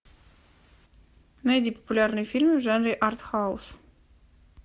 найди популярные фильмы в жанре артхаус